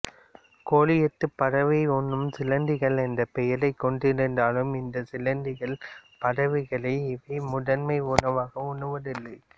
கோலியாத் பறவை உண்ணும் சிலந்திகள் என்ற பெயரை கொண்டிருந்தாலும் இந்த சிலந்திகள் பறவைகளை இவை முதன்மை உணவாக உண்ணுவதில்லை